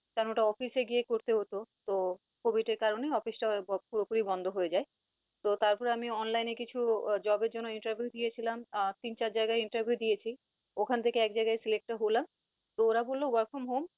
কারন ওটা office এ গিয়ে করতে হত। তো কভিড এর কারনে office টা পরোপুরি বন্ধ হয়ে যায় তো তারপরে আমি online কিছু job এর জন্য interview দিয়েছিলাম আহ তিন চার জায়গায় interview দিয়েছি ওখান থেকে এক জায়গায় select ও হলাম, তো অরা বলল work from home